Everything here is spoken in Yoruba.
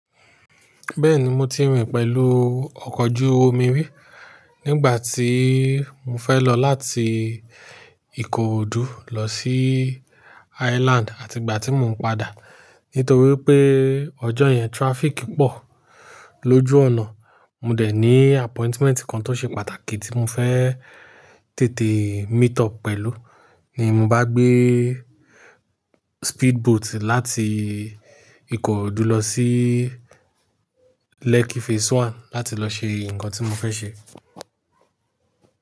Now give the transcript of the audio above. Bẹ́ẹ̀ni mo ti rìn pẹ̀lú ọkọ̀ ojú omi rí nígbà tí mo fẹ́ lọ láti Ìkòròdú lọ sí Island àti ìgbà tí mò ń padà. Nítorí pé ọjọ́ yẹn traffic pọ̀ lójú ọ̀nà. Mo dẹ̀ ní appointment kan tó ṣe pàtàkì tí mo fẹ́ tètè meet up pẹ̀lú ní mo bá gbé speedboat láti Ìkòròdú lọ sí Lekki Phase One láti lọ ṣe nǹkan tí mo fẹ́ ṣe.